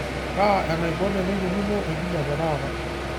kaa enaibon eneikununo enkijiape taata